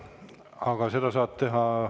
Aga seda saab teha …